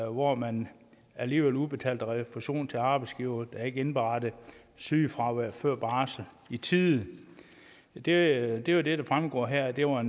hvor man alligevel udbetalte refusion til arbejdsgivere der ikke indberettede sygefraværet før barsel i tide det er jo det der fremgår her at det var